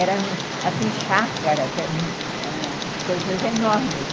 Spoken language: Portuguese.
Eram, assim, chácaras, eram ãh coisas enormes.